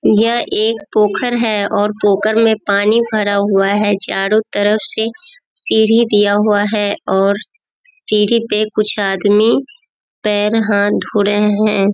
यह एक पोखर है और पोखर में पानी भरा हुआ है चारो तरफ से सीढ़ी दिया हुआ है और सीढ़ी पे कुछ आदमी पैर हाथ धो रहे है।